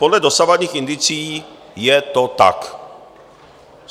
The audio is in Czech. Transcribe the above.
Podle dosavadních indicií je to tak.